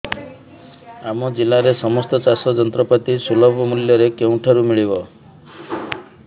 ଆମ ଜିଲ୍ଲାରେ ସମସ୍ତ ଚାଷ ଯନ୍ତ୍ରପାତି ସୁଲଭ ମୁଲ୍ଯରେ କେଉଁଠାରୁ ମିଳିବ